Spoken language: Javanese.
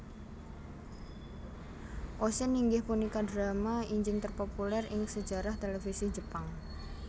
Oshin inggih punika drama injing terpopuler ing sejarah televisi Jepang